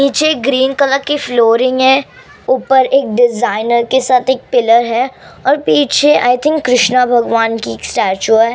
नीचे green colour की flooring है ऊपर एक डिजाइनर के साथ एक पिलर है और पीछे आई थिंक कृष्णा भगवान की एक स्टेच्यू है।